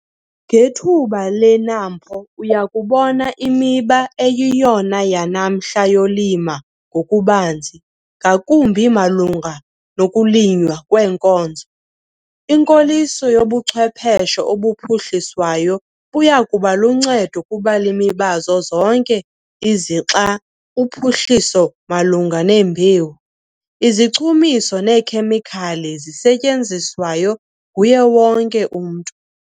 Ngethuba leNAMPO, uya kubona imiba eyiyona yanamhla yolimo ngokubanzi ngakumbi malunga nokulinywa kweenkozo. Inkoliso yobuchwepheshe obuphuhliswayo buya kuba luncedo kubalimi bazo zonke izixa - uphuhliso malunga nembewu, izichumiso neekhemikhali zisetyenziswayo nguye wonke umntu.